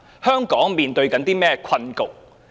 香港正面對怎樣的困局呢？